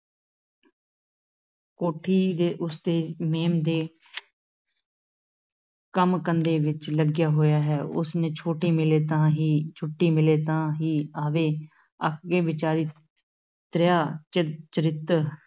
ਕੋਠੀ ਦੇ ਉਸ ਤੇ ਮੇਮ ਦੇ ਕੰਮ-ਧੰਦੇ ਵਿੱਚ ਲੱਗਿਆ ਹੋਇਆ ਹੈ, ਉਸ ਨੇ ਛੋਟੀ ਮਿਲੇ ਤਾਂ ਹੀ, ਛੁੱਟੀ ਮਿਲੇ ਤਾਂ ਹੀ ਆਵੇ, ਅੱਕ ਕੇ ਵਿਚਾਰੀ ਤ੍ਰਿਆ ਚਰ ਚਰਿੱਤਰ